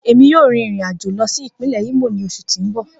Emi yoo rin irin ajo lọ si ipinlẹ Imo ni oṣu ti n bọ.